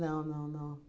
não, não.